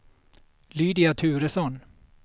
Lydia Turesson